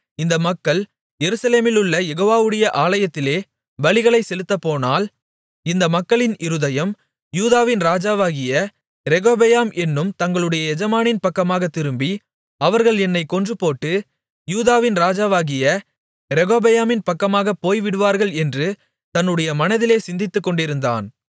இந்த மக்கள் எருசலேமிலுள்ள யெகோவாவுடைய ஆலயத்திலே பலிகளைச் செலுத்தப்போனால் இந்த மக்களின் இருதயம் யூதாவின் ராஜாவாகிய ரெகொபெயாம் என்னும் தங்களுடைய எஜமானின் பக்கமாகத் திரும்பி அவர்கள் என்னைக் கொன்றுபோட்டு யூதாவின் ராஜாவாகிய ரெகொபெயாமின் பக்கமாகப் போய்விடுவார்கள் என்று தன்னுடைய மனதிலே சிந்தித்துக்கொண்டிருந்தான்